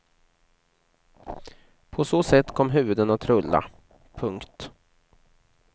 På så sätt kom huvuden att rulla. punkt